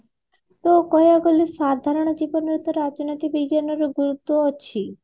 କଓୟାଉ କହିବାକୁ ଗଲେ ସାଧାରଣ ଜୀବନରେ ତ ରାଜନୀତି ବିଜ୍ଞାନର ଗୁରୁତ୍ଵ ଅଛି